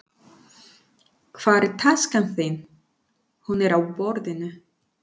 Hvar er taskan þín. Hún er á borðinu